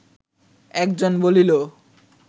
একজন বলিল